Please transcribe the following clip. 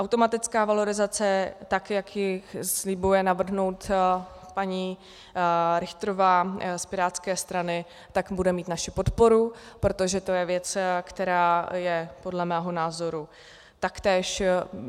Automatická valorizace, tak jak ji slibuje navrhnout paní Richterová z pirátské strany, tak bude mít naši podporu, protože to je věc, která je podle mého názoru taktéž...